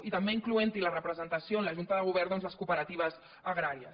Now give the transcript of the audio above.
i també incloent hi la representació en la junta de govern de les cooperatives agràries